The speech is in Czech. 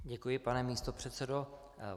Děkuji, pane místopředsedo.